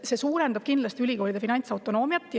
See suurendab kindlasti ülikoolide finantsautonoomiat.